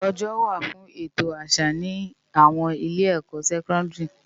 Òjò wá fún ètó àsá ni áwòn ilé èkò sèkòndiri